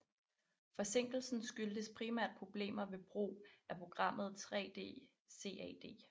Forsinkelsen skyldtes primært problemerne ved brugen af programmet 3D CAD